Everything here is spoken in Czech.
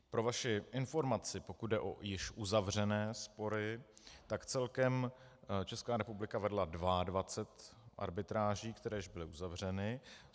Pro vaši informaci, pokud jde o již uzavřené spory, tak celkem Česká republika vedla 22 arbitráží, které už byly uzavřeny.